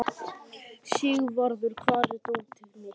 Sigvarður, hvar er dótið mitt?